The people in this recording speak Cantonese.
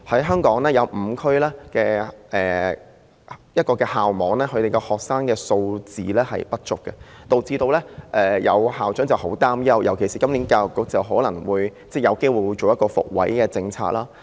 香港有5個校區學生人數不足，導致有校長很擔憂，尤其是教育局今年可能有機會推行"復位"政策。